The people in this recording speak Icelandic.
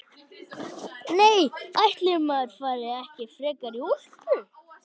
Nei, ætli maður fari ekki frekar í úlpu.